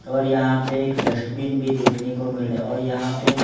और यहां पे एक डस्टबिन भी देखने को मिल रहा है और यहां पे।